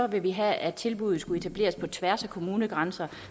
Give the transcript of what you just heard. vil vi have at tilbuddet skal etableres på tværs af kommunegrænser